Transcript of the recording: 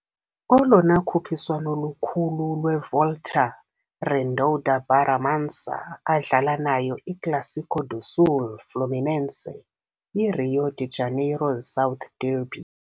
Olona khuphiswano lukhulu lwevolta Redonda Barra Mansa adlala nayo iClássico do Sul Fluminense, i-Rio de Janeiro's South derby.